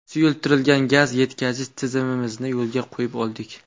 Suyultirilgan gaz yetkazish tizimimizni yo‘lga qo‘yib oldik.